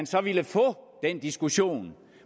så ville få den diskussion